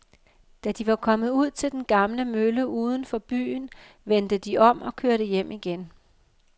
Da de var kommet ud til den gamle mølle uden for byen, vendte de om og kørte hjem igen.